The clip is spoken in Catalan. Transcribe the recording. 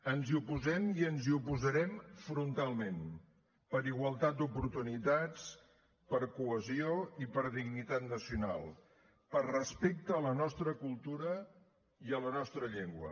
ens hi oposem i ens hi oposarem frontalment per igualtat d’oportunitats per cohesió i per dignitat nacional per respecte a la nostra cultura i a la nostra llengua